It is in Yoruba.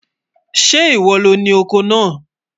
Sẹ́ íwọ́ lọ ni ọkọ́ náà?